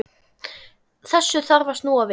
Þessu þarf að snúa við.